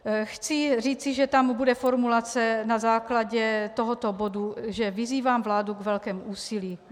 Chci říci, že tam bude formulace na základě tohoto bodu, že vyzývám vládu k velkému úsilí.